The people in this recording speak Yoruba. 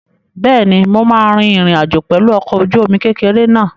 Bẹ́ẹ̀ni, mo máa rin ìrìn àjò pẹ̀lú ọkọ̀-ojúomi kékeré náà